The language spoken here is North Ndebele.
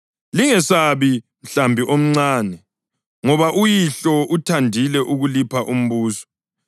Lingesabi, mhlambi omncane, ngoba uYihlo uthandile ukulipha umbuso.